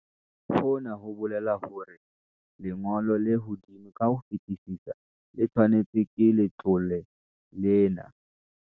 Hona ho bolela hore lengo lo le hodimo ka ho fetisisa le tshehetswang ke letlole lena ke.